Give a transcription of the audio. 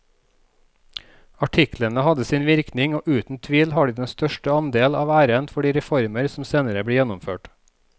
Artiklene hadde sin virkning og uten tvil har de den største andel av æren for de reformer som senere ble gjennomført.